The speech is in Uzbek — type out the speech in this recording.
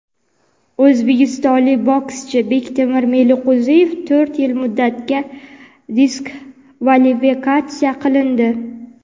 o‘zbekistonlik bokschi Bektemir Meliqo‘ziyev to‘rt yil muddatga diskvalifikatsiya qilindi.